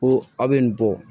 Ko a bɛ nin bɔ